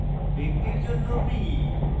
ব্যক্তির জন্য p